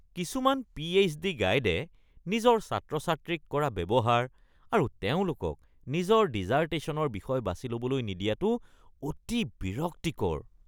কিছুমান পি.এইছ.ডি. গাইডে নিজৰ ছাত্ৰ-ছাত্ৰীক কৰা ব্যৱহাৰ আৰু তেওঁলোকক নিজৰ ডিচাৰ্টেশ্যনৰ বিষয় বাছি ল’বলৈ নিদিয়াটো অতি বিৰক্তিকৰ।